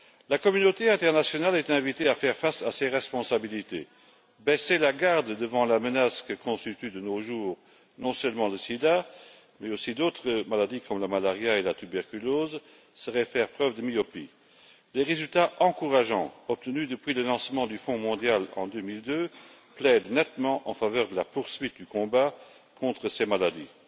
La communauté internationale a été invitée à faire face à ses responsabilités baisser la garde devant la menace que constituent, de nos jours, non seulement le sida, mais aussi d'autres maladies comme le paludisme et la tuberculose, serait faire preuve de myopie. Les résultats encourageants obtenus depuis le lancement du Fonds mondial en 2002 plaident nettement en faveur de la poursuite du combat contre ces maladies.